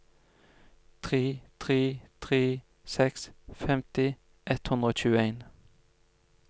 tre tre tre seks femti ett hundre og tjueen